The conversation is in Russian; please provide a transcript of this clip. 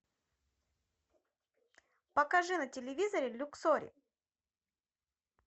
покажи на телевизоре люксори